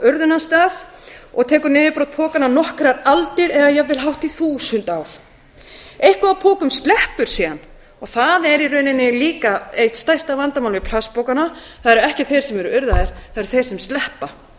urðunarstað og tekur niðurbrot pokanna nokkrar aldir eða jafnvel hátt í þúsund ár eitthvað af pokum sleppur síðan og það er í rauninni líka eitt stærsta vandamálið við plastpokana það eru ekki þeir sem eru urðaðir það eru þeir sem sleppa þeir sleppa